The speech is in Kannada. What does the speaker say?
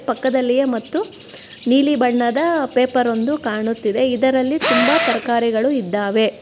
ಪಕ್ಕದಲ್ಲಿಯೆ ಮತ್ತು ನೀಲಿ ಬಣ್ಣದ ಪೇಪರ್ ಒಂದು ಕಾಣುತ್ತಿದೆ ಇದರಲ್ಲಿ ತುಂಬಾ ತರ್ಕಾರಿಗಳು ಇದ್ದಾವೆ.